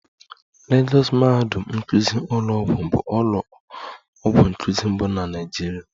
Lagọs mahadum nkụzi ụlọọgwụ bụ ụlọ ọgwụ nkuzi mbụ na Naịjirịa